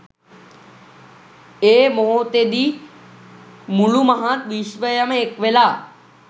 ඒ මොහොතෙදි මුළු මහත් විශ්වයම එක්වෙලා